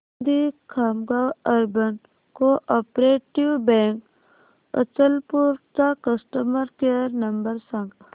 दि Khamgaon urban co-operative bank Achalpur चा customer care number सांग